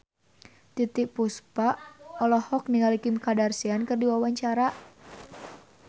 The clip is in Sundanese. Titiek Puspa olohok ningali Kim Kardashian keur diwawancara